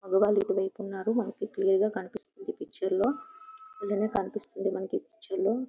మగవాళ్లు ఇటువైపు ఉన్నారు. మనకు క్లియర్ గా కనిపిస్తుంది ఈ పిక్చర్ లో.అలాగే కనిపిస్తుంది మనకి ఈ పిక్చర్ లో--